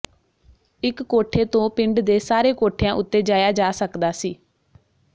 ਇੱਕ ਕੋਠੇ ਤੋਂ ਪਿੰਡ ਦੇ ਸਾਰੇ ਕੋਠਿਆਂ ਉੱਤੇ ਜਾਇਆ ਜਾ ਸਕਦਾ ਸੀ